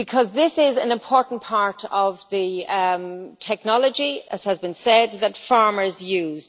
This is an important part of the technology, as has been said, that farmers use.